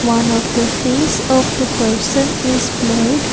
one of the face of the person is blurred.